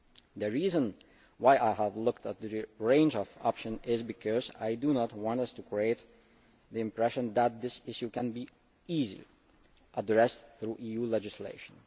EU. The reason why I have looked at the range of options is because I do not want us to create the impression that this issue can be addressed easily through EU legislation.